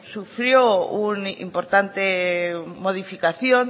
sufrió un importante modificación